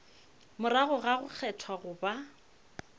morago ga go kgethwa goba